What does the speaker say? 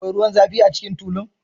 Akwai ruwan zafi a cikin tulun?